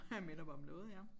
Ha minder mig om noget ja